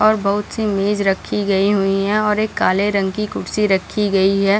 और बहुत सी मेज रखी गयी हुई है और एक काले रंग की कुर्सी रखी गयी है।